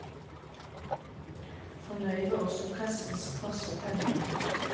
Fornøyd var også pressens kvasse penner.